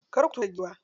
Kar ku tura giwa.